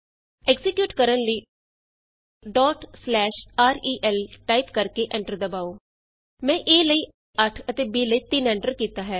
execute ਕਰਨ ਲਈ rel type ਕਰਕੇ ਐਂਟਰ ਦਬਾਉ ਮੈਂ a ਲਈ 8 ਅਤੇ b ਲਈ 3 ਐਂਟਰ ਕੀਤਾ ਹੈ